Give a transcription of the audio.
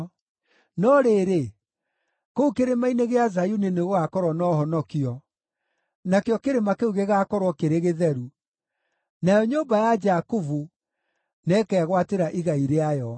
No rĩrĩ, kũu Kĩrĩma-inĩ gĩa Zayuni nĩgũgakorwo na ũhonokio; nakĩo kĩrĩma kĩu gĩgaakorwo kĩrĩ gĩtheru, nayo nyũmba ya Jakubu nĩĩkegwatĩra igai rĩayo.